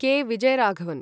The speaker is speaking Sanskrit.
कॆ. विजय् राघवन्